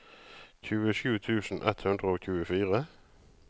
tjuesju tusen ett hundre og tjuefire